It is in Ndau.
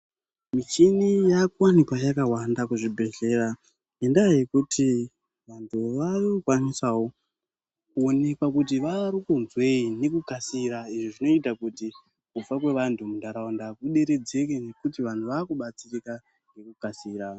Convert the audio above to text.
Michini yakuwanikwa yakawanda kuzvibhedhlera ngendaa yekuti vantu varikukwanisawo kuonekwa kuti varikunzwei nekukasira izvo zvinoita kuti kufa kwevantu muntaraunda kuderedzeke nekuti vantu vakubatsirika nekukasira.